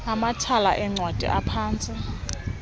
amathala eencwadi aphantsi